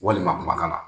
Walima kumakan na